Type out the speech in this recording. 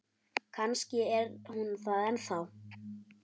Kannski er hún það ennþá.